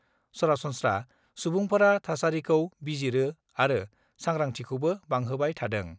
सरासन्स्रा सुबुंफोरा थासारिखौ बिजिरो आरो सांग्रांथिखौबो बांहोबाय थादों।